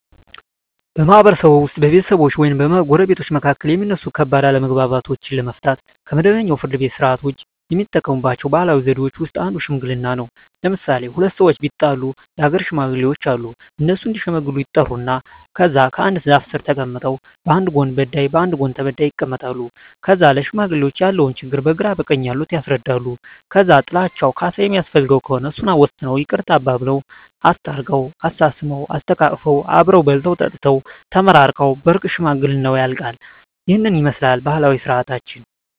በማህበረሰብዎ ውስጥ በቤተሰቦች ወይም በጎረቤቶች መካከል የሚነሱ ከባድ አለመግባባቶችን ለመፍታት (ከመደበኛው የፍርድ ቤት ሥርዓት ውጪ) የሚጠቀሙባቸው ባህላዊ ዘዴዎች ውስጥ አንዱ ሽምግልና ነው። ለምሣሌ፦ ሁለት ሠዎች ቢጣሉ የአገር ሽማግሌዎች አሉ። እነሱ እዲሸመግሉ ይጠሩና ከዛ አንድ ዛፍ ስር ተቀምጠው በአንድ ጎን በዳይ በአንድ ጎን ተበዳይ ይቀመጣሉ። ከዛ ለሽማግሌዎች ያለውን ችግር በግራ በቀኝ ያሉት ያስረዳሉ። ከዛ ጥላቸው ካሣ የሚያስፈልገው ከሆነ እሱን ወስነው ይቅርታ አባብለው። አስታርቀው፤ አሳስመው፤ አሰተቃቅፈው አብረው በልተው ጠጥተው ተመራርቀው በእርቅ ሽምግልናው ያልቃ። ይህንን ይመስላል ባህላዊ ስርዓታችን።